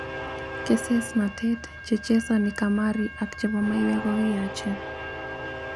Kesesnatet, chechesani kamari ak chebo maiwek kokiyachen.